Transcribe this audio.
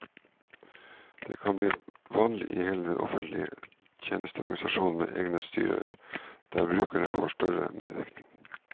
Det kan bli vanlig i hele den offentlige tjensteorganisasjonen med egne styrer der brukerne får større medvirkning.